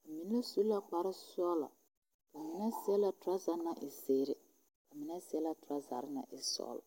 ba mine su la kparesɔglɔ ba mine seɛ la torɔza naŋ e zeere ba mine seɛ la torɔzare naŋ e sɔglɔ.